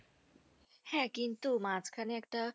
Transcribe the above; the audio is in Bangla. হ্যাঁ কিন্তু মাঝখানে একটা